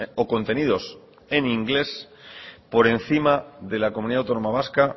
o contenidos en inglés por encima de la comunidad autónoma vasca